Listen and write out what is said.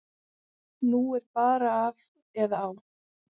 Nú er bara af eða á.